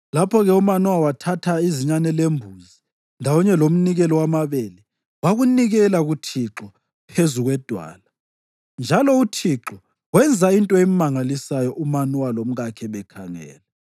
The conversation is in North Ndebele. Lapho-ke uManowa wathatha izinyane lembuzi, ndawonye lomnikelo wamabele wakunikela kuThixo phezu kwedwala. Njalo uThixo wenza into emangalisayo uManowa lomkakhe bekhangele: